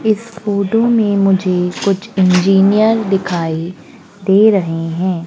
इस फोटो में मुझे कुछ इंजीनियर दिखाई दे रहे हैं।